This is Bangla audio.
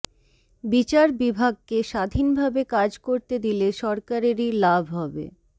বিচার বিভাগকে স্বাধীনভাবে কাজ করতে দিলে সরকারেরই লাভ হবে